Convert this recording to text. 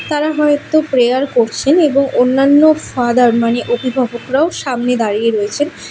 তারা হয়তো প্রেয়ার করছেন এবং অন্যান্য ফাদার মানে অভিভাবকরাও সামনে দাঁড়িয়ে রয়েছেন।